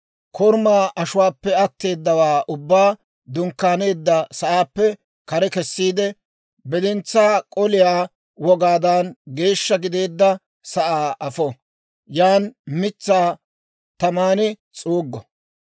korumaa ashuwaappe atteedawaa ubbaa dunkkaaneedda sa'aappe kare kessiide; bidintsaa k'oliyaa wogaadan geeshsha gideedda sa'aa afo; yan mitsaa taman s'uuggo.